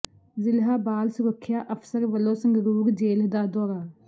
ਜ਼ਿਲ੍ਹਾ ਬਾਲ ਸੁਰੱਖਿਆ ਅਫ਼ਸਰ ਵਲੋਂ ਸੰਗਰੂਰ ਜੇਲ੍ਹ ਦਾ ਦੌਰਾ